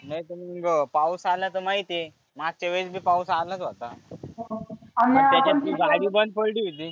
नाही तर मग पाऊस आला तर माहिती आहे. मागच्या वेळेस बी पाऊस आलाच होता. त्याच्यात तुही गाडी बंद पडली होती.